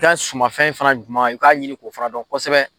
Taa sumamanfɛn fɛnɛ jumɛn na, ka'a ɲini k' o fara dɔn kosɛbɛ